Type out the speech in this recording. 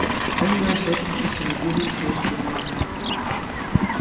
он у нас очень честолюбивый и целеустремлённый